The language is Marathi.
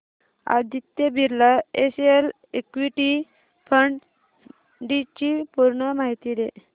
Aditya Birla SL equity fund D ची पूर्ण माहिती दे